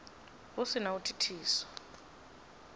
hu si na u thithisa